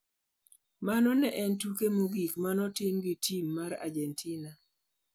Mano ne en tuke mogik ma ne otimo gi tim mar Argentina.